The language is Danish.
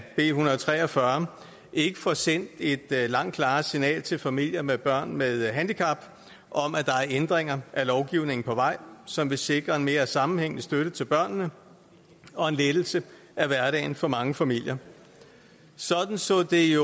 b en hundrede og tre og fyrre ikke får sendt et langt klarere signal til familier med børn med handicap om at der er ændringer af lovgivningen på vej som vil sikre en mere sammenhængende støtte til børnene og en lettelse af hverdagen for mange familier sådan så det